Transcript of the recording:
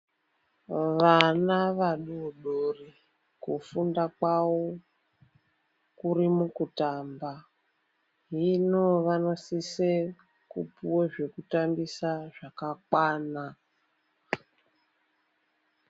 Vana vadodori kufunda kwavo kuri mukutamba. Hino vanosise kupuva zvekutambisa zvakakwana.